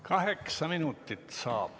Kaheksa minutit saab.